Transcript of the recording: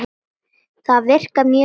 Það virkar mjög vel.